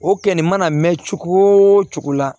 O kɛli mana mɛn cogo o cogo la